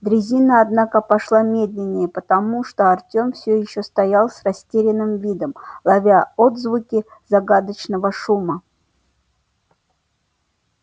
дрезина однако пошла медленнее потому что артем все ещё стоял с растерянным видом ловя отзвуки загадочного шума